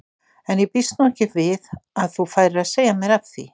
En ég býst nú ekki við að þú færir að segja mér af því.